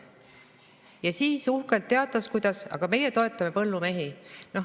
Ja siis uhkelt teatas: aga meie toetame põllumehi.